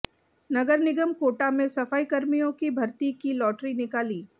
नगर निगम कोटा में सफाईकर्मियों की भर्ती की लॉटरी निकाली